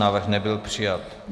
Návrh nebyl přijat.